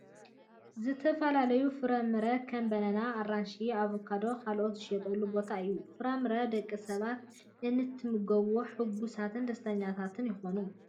ዝተፈላለዩ ፍራምረ ከም ባናናን ኣራንሽ ፣ ኣቫካዶን ካልእን ዝሽየጠሉ ቦታ እዩ ። ፍራምረ ደቂ ሰባት እንትምገብዎ ሑጉሳትን ደስተኛታትን ይኮኑ ።